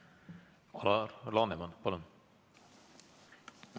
Alar Laneman, palun!